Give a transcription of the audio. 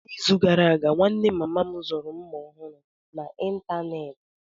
N'izu gara aga, nwanne mama m zuru mma ọhụrụ n'ịntanetị.